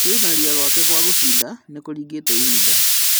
Kwĩrutanĩria gwake kwa gũcinda nĩkũringĩte ihinda